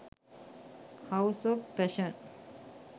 house of fashion